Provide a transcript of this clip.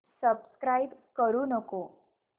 subscribe करू नको